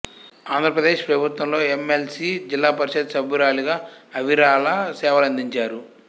ఆంధ్రప్రదేశ్ ప్రభుత్వంలో M L C Zilla Parishad సభ్యురాలిగా అవిరళ సేవలందించారు